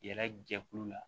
Yɛrɛ jɛkulu la